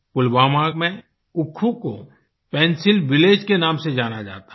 पुलवामा में उक्खू को pencil village के नाम से जाना जाता है